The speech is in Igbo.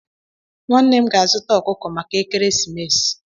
Nwannem ga-azuta okuko maka ekeresimesi